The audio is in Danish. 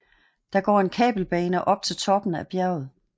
Der går en kabelbane op til toppen af bjerget